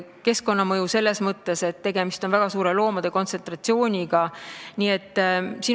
Keskkonnamõju on siin ka selles mõttes, et tegemist on loomade väga suure kontsentratsiooniga.